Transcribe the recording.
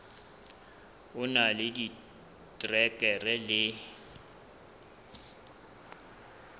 o na le diterekere le